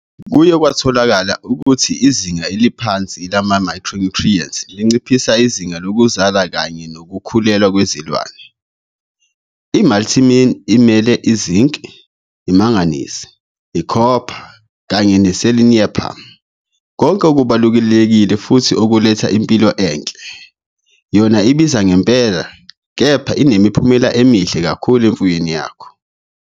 Kuye kwatholakala ukuthi izinga eliphansi lamamayikhro-nyuthriyenti linciphisa izinga lokuzala kanye nokukhulelwa kwezilwane. I"Multimin" imela iZinc, iManganese, iCopper kanye neSeleniupamm - konke okubalulekile futhi okuletha impilo enhle. Yona ibiza ngempela, kepha inemiphumela emihle kakhulu emfuyweni yakho.